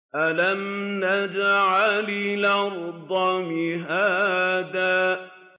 أَلَمْ نَجْعَلِ الْأَرْضَ مِهَادًا